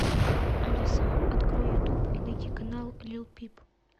алиса открой ютуб и найди канал лил пип